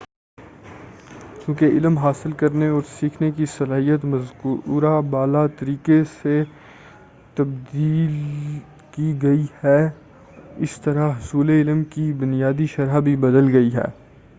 چونکہ علم حاصل کرنے اور سیکھنے کی صلاحیت مذکورہ بالا طریقے سے تبدیل گئی ہے اسی طرح حصول علم کی بنیادی شرح بھی بدل گئی ہے